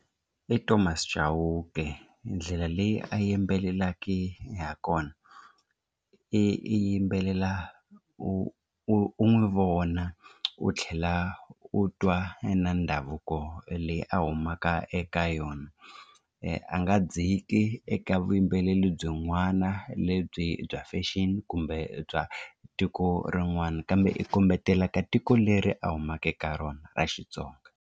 I Thomas Chauke ndlela leyi a yimbelelaki ha kona i yimbelela u u n'wi vona u tlhela u twa na ndhavuko leyi a humaka eka yona a nga dziki eka vuyimbeleri byin'wana lebyi bya fashion kumbe bya tiko rin'wana kambe i kombetela ka tiko leri a humaka eka rona ra Xitsonga.